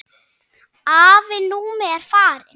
Afi Númi er farinn.